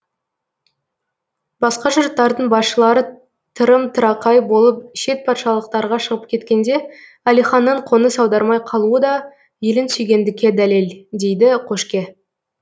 басқа жұрттардың басшылары тырым тырақай болып шет патшалықтарға шығып кеткенде әлиханның қоныс аудармай қалуы да елін сүйгендікке дәлел дейді қошке